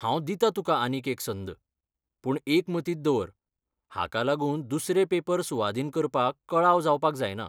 हांव दितां तुका आनीक एक संद, पूण एक मतींत दवर, हाका लागून दुसरे पेपर सुवादीन करपाक कळाव जावपाक जायना.